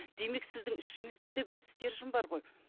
демек сіздің ішіңізде де бір стержень бар ғой